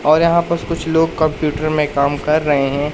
और यहां पस कुछ लोग कंप्यूटर में काम कर रहे हैं।